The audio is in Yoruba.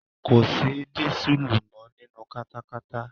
Kòsí dísùlù mọ́ nínu katakata.